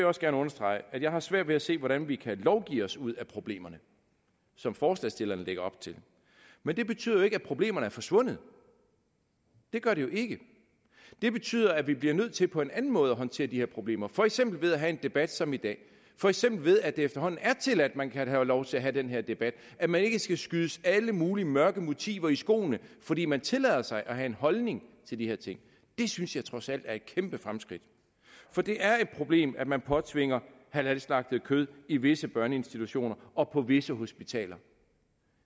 også gerne understrege at jeg har svært ved at se hvordan vi kan lovgive os ud af problemerne som forslagsstillerne lægger op til men det betyder jo ikke at problemerne er forsvundet det gør det jo ikke det betyder at vi bliver nødt til på en anden måde at håndtere de her problemer for eksempel ved at have en debat som i dag for eksempel ved at det efterhånden er tilladt at man kan have lov til at have den her debat at man ikke skal skydes alle mulige mørke motiver i skoene fordi man tillader sig at have en holdning til de her ting det synes jeg trods alt er et kæmpe fremskridt for det er et problem at man påtvinger halalslagtet kød i visse børneinstitutioner og på visse hospitaler